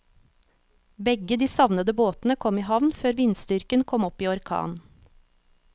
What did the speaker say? Begge de savnede båtene kom i havn før vindstyrken kom opp i orkan.